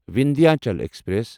Vindhyachal express